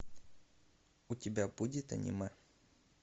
у тебя будет аниме